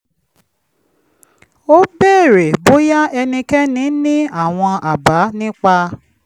ó béèrè bóyá ẹnikẹ́ni ní àwọn àbá nípa